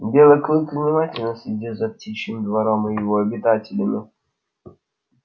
белый клык внимательно следил за птичьим двором и его обитателями